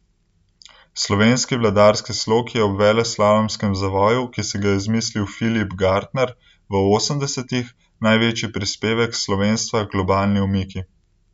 Slovenski vladarski slog je ob veleslalomskem zavoju, ki si ga je izmislil Filip Gartner v osemdesetih, največji prispevek slovenstva h globalni omiki.